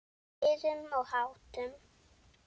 Siðum og háttum.